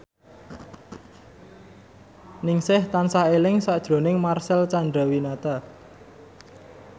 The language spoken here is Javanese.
Ningsih tansah eling sakjroning Marcel Chandrawinata